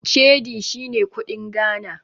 Cedi shine kuɗin Ghana.